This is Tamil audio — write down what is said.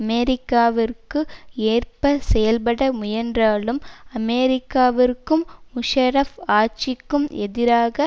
அமெரிக்காவிற்கு ஏற்ப செயல்பட முயன்றாலும் அமெரிக்காவிற்கும் முஷாரப் ஆட்சிக்கும் எதிராக